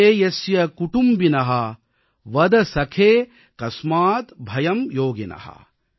ஏதே யஸ்ய குடும்பின வத ஸகே கஸ்மாத் பயம் யோகின